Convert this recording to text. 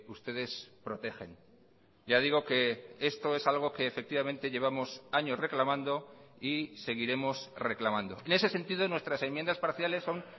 ustedes protegen ya digo que esto es algo que efectivamente llevamos años reclamando y seguiremos reclamando en ese sentido nuestras enmiendas parciales son